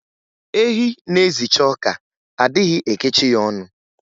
Ehi na-ezicha ọka, a dịghị ekechi ya ọnụ